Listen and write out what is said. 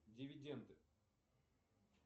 дивиденды